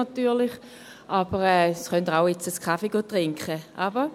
Sie können jetzt auch einen Kaffee trinken gehen.